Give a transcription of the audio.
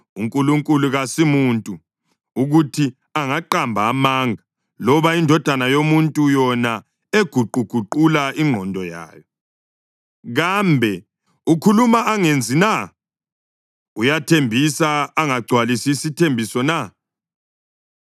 UNkulunkulu kasumuntu, ukuthi angaqamba amanga, loba indodana yomuntu, yona eguquguqula ingqondo yayo. Kambe ukhuluma angenzi na? Uyathembisa angagcwalisi isithembiso na?